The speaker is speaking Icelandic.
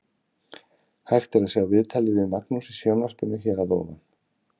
Hægt er að sjá viðtalið við Magnús í sjónvarpinu hér að ofan.